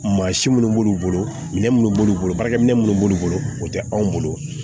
Mansin minnu b'olu bolo minɛ minnu b'olu bolo baarakɛ minɛ minnu b'olu bolo o tɛ anw bolo